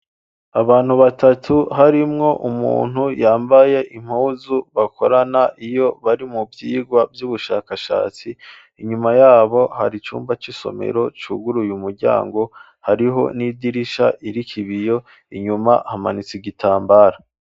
Abantu batatu harimwo umuntu yambaye impuzu bakorana iyo bari mu vyigwa by'ubushakashatsi inyuma yabo hari cyumba cy'isomero cyugur uye umuryango hariho n'idirisha irikibiyo inyuma hamanitse igitambara.